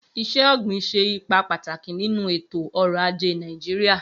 Iṣẹ-ogbin ṣe ipa pataki ninu eto-ọrọ aje Naijiria